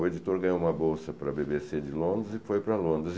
O editor ganhou uma bolsa para bê bê cê de Londres e foi para Londres.